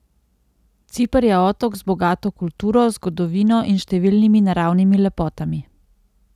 Ciper je otok z bogato kulturo, zgodovino in številnimi naravnimi lepotami.